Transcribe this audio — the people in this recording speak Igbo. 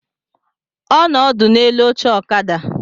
Ọ nọ ọdụ n'elu oche ọkada